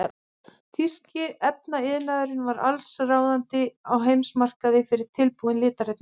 Þýski efnaiðnaðurinn var allsráðandi á heimsmarkaði fyrir tilbúin litarefni.